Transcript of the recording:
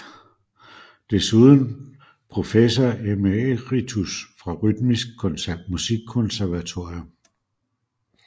Desuden professor emeritus fra Rytmisk Musikkonservatorium